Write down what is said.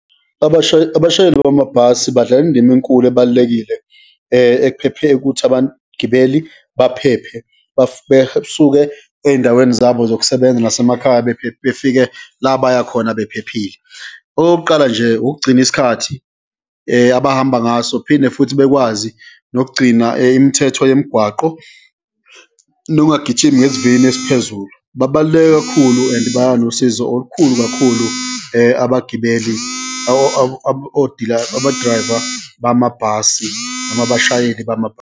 Abashayeli bamabhasi badlala indima enkulu, ebalulekile ekuphephe ukuthi abagibeli baphephe besuke eyindaweni zabo zokusebenza nasemakhaya befike la baya khona bephephile. Okokuqala nje, ukugcina isikhathi abahamba ngaso, phinde futhi bekwazi nokugcina imithetho yemigwaqo nokungagijimi ngesivinini esiphezulu. Babaluleke kakhulu and banosizo olukhulu kakhulu, abagibeli abo-driver bamabhasi, noma abashayeli .